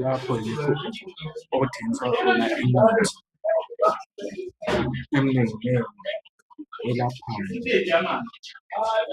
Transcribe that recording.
Lapho yikho okuthengiswa khona imithi eminenginengi elaphayo